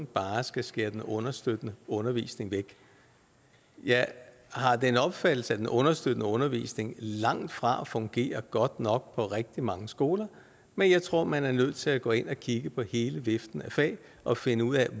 bare skal skære den understøttende undervisning væk jeg har den opfattelse at den understøttende undervisning langtfra fungerer godt nok på rigtig mange skoler men jeg tror at man er nødt til at gå ind og kigge på hele viften af fag og finde ud af